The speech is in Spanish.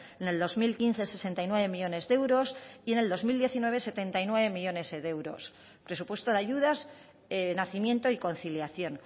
en el dos mil quince sesenta y nueve millónes de euros y en el dos mil diecinueve setenta y nueve millónes de euros presupuesto de ayudas nacimiento y conciliación